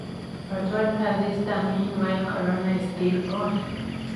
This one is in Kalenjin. But what does Easter mean while corona is still on?